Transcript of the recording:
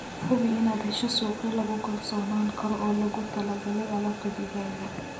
Hubi inaad hesho suuqyo lagu kalsoonaan karo oo loogu talagalay alaabta digaaga.